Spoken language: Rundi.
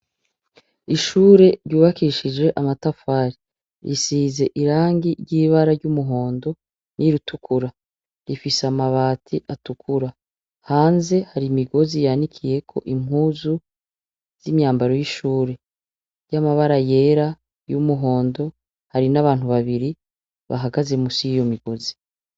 Ishure ryubakishijwe amatafari risize irangi ry'ibara ry'umuhondo n'irutukura rifise amabati atukura hanze hari imigozi yanikiyeko impuzu z'imyambaro y'ishure ry'amabara yera y'umuhondo hari n'abantu babiri bahagaze musi y'iyo migozi.